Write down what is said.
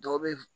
Dɔw bɛ